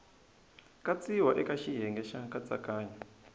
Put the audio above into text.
katsiwa eka xiyenge xa nkatsakanyo